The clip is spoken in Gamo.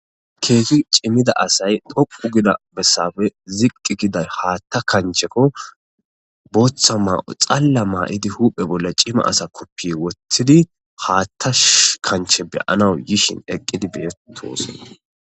keezi cimmida asay dhoqu gida bessafe ziqqi giday haatta kanchekko booththa ma7o xalla maa7idi huphe bolle cima asa koppi woththidi haatta kanche beyanawu yishin eqqidi betosona